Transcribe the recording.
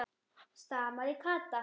stamaði Kata.